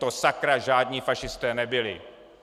To sakra žádní fašisté nebyli!